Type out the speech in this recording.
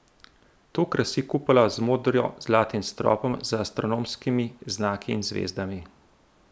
To krasi kupola z modro zlatim stropom z astronomskimi znaki in zvezdami.